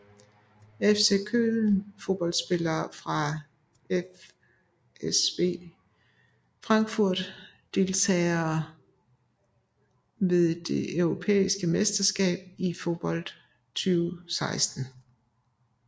FC Köln Fodboldspillere fra FSV Frankfurt Deltagere ved det europæiske mesterskab i fodbold 2016